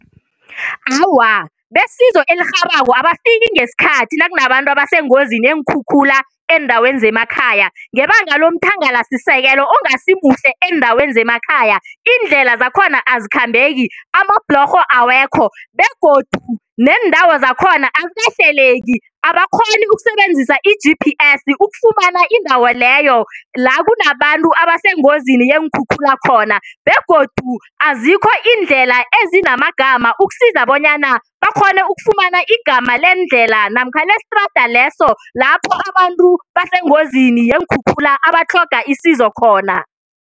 Awa, besizo elirhabako abafika ngesikhathi nakunabantu abasengozini yeenkhukhula eendaweni zemakhaya ngebanga lomthangalasisekelo ongasi muhle eendaweni zemakhaya. Iindlela zakhona azikhambeki amabhlorho awekho begodu neendawo zakhona azikahleleki abakghoni ukusebenzisa i-G_P_S ukufumana indawo leyo la kunabantu abasengozini yeenkhukhula khona begodu azikho iindlela ezinamagama ukusiza bonyana bakghone ukufumana igama lendlela namkha lestrada leso lapho abantu basengozini yeenkhukhula abatlhoga isizo khona.